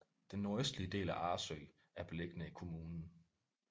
Den nordøstlige del af Arresø er beliggende i kommunen